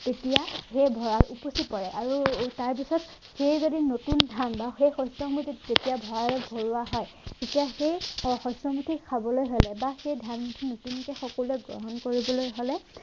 তেতিয়া সেই ভঁৰাল উপচি পৰে আৰু তাৰপাছত সেই যদি নতুন ধান বা সেই শস্য়মুঠি তেতিয়া ভঁৰালত ভৰোৱা হয় তেতিয়া সেই শ শস্য়মুঠি খাবলে হলে বা সেই ধান নতুনকে সকলোৱে গ্ৰহণ কৰিবলৈ হলে